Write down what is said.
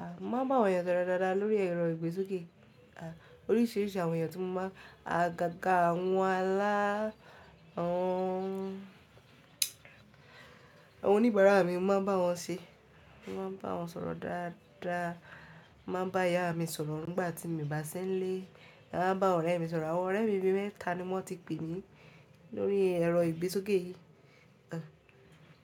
A mo ma ba àwọn ènìyàn sọ̀rọ̀ dáadáa lórí ẹ̀rọ ìgbésókè. A oríṣiríṣi àwọn ènìyàn tí mo máa a gágà wọn lá, awọn, àwọn oníbàárà mi mo máa ń bá wọn ṣé, mo máa ń bá wọn sọ̀rọ̀ dáadáa. Mo máa ń bá ìyá mi sọ̀rọ̀ nígbà tí mo bá ṣińlẹ̀. Màa bá àwọn ọ̀rẹ́ mi sọ̀rọ̀, àwọn ọ̀rẹ́ mi mẹ́ta ni wọ́n ti pè mí lórí ẹ̀rọ ìgbésókè yìí.